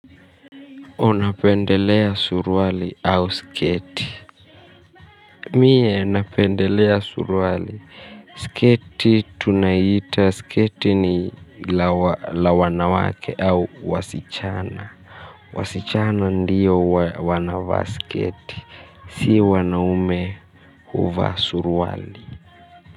Unapendelea suruali au sketi? Mie napendelea suruali. Sketi ni la wanawake au wasichana. Wasichana ndiyo wanavaa sketi. Si wanaume huvaa suruali.